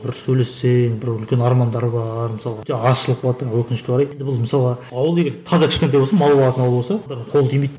бір сөйлессең бір үлкен армандары бар мысалға өкінішке қарай енді бұл мысалға ауыл егер таза кішкентай болсын мал бағатын ауыл болса бір қол тимейді